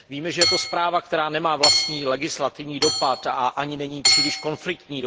Víme, že je to zpráva, která nemá vlastní legislativní dopad a ani není příliš konfliktní.